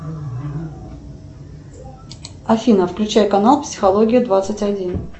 афина включай канал психология двадцать один